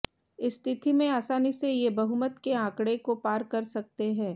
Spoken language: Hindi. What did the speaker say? इस स्थिति में आसानी से ये बहुमत के आंकड़े को पार सकते हैं